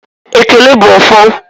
Ekele bụ ọfọ